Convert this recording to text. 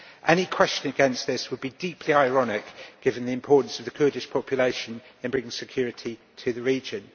Any question against this would be deeply ironic, given the importance of the Kurdish population in bringing security to the region.